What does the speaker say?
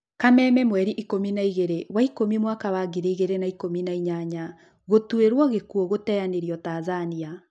Kameme mweri ikũmi na igĩrĩ wa ikũmi mwaka wa ngiri igĩrĩ na ikũmi na inyanya. Gũtwirwo gĩkuũgũteanĩrio Tanzania.